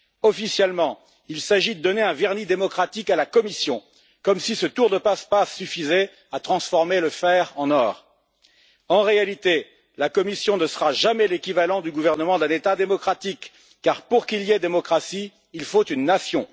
Officiellement, il s'agit de donner un vernis démocratique à la Commission, comme si ce tour de passe passe suffisait à transformer le fer en or. En réalité, la Commission ne sera jamais l'équivalent du gouvernement d'un État démocratique, car pour qu'il y ait démocratie, il faut une nation.